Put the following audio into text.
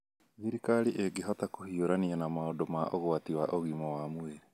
Thirikari ĩngihota kũhiũrania na maũndũ ma ũgwati wa ũgima wa mwĩrĩ